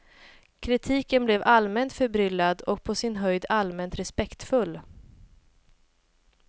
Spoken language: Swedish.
Kritiken blev allmänt förbryllad och på sin höjd allmänt respektfull.